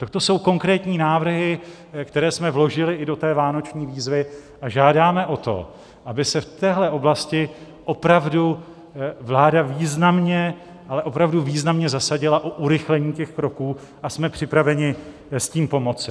Tak to jsou konkrétní návrhy, které jsme vložili i do té vánoční výzvy, a žádáme o to, aby se v téhle oblasti opravdu vláda významně, ale opravdu významně zasadila o urychlení těch kroků, a jsme připraveni s tím pomoci.